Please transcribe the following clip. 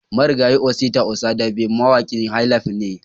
Marigayi Osita Osadabe mawaƙin "highlife" ne